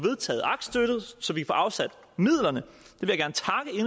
afsat midlerne